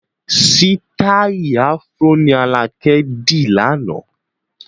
Sítai "Afro" ni alakẹ di láánaà.